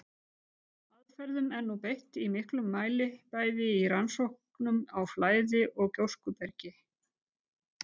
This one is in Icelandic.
Þessum aðferðum er nú beitt í miklum mæli bæði í rannsóknum á flæði- og gjóskubergi.